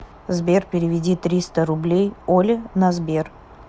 сбер переведи триста рублей оле на сбер